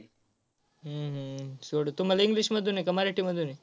हम्म हम्म सोडव तुम्हाला English मधून आहे का मराठीमधून आहे?